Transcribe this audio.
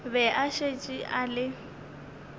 be a šetše a le